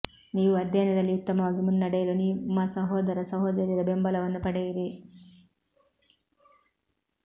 ನೀವು ಅಧ್ಯಯನದಲ್ಲಿ ಉತ್ತಮವಾಗಿ ಮುನ್ನಡೆಯಲು ನಿಮ್ಮ ಸಹೋದರ ಸಹೋದರಿಯರ ಬೆಂಬಲವನ್ನು ಪಡೆಯಿರಿ